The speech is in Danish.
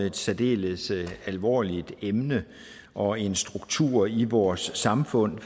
et særdeles alvorligt emne og en struktur i vores samfund